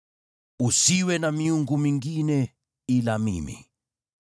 Usiwe na miungu mingine ila mimi.